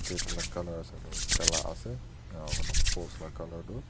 Gate la colour sailu gala ase aro post la colour tu.